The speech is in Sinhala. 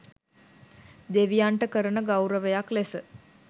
දෙවියන්ට කරන ගෞරවයක් ලෙස